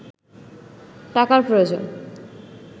টাকার প্রয়োজন